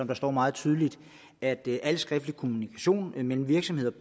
der står meget tydeligt at al skriftlig kommunikation mellem virksomheder